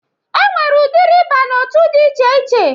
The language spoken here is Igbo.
E nwere udiri ịba n'otu dị iche iche